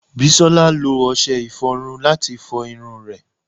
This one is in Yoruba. Bisola lo ọṣẹ iforun lati fo irun re